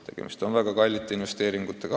Tegemist on väga suurte investeeringutega.